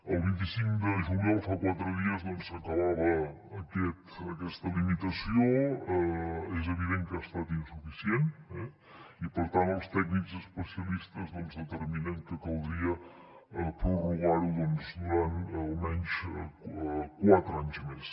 el vint cinc de juliol fa quatre dies doncs s’acabava aquesta limitació és evident que ha estat insuficient i per tant els tècnics especialistes determinen que caldria prorrogarho durant almenys quatre anys més